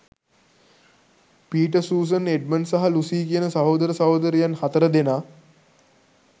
Peter Susan Edmund සහ Lucy කියන සහෝදර සහොදරියන් හතර දෙනා